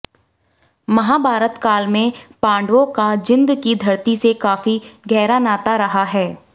महाभारत काल में पांडवों का जीन्द की धरती से काफी गहरा नाता रहा है